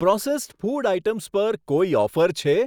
Processed food items પર કોઈ offer છે?